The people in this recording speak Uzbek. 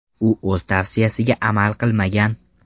U o‘z tavsiyasiga amal qilmagan.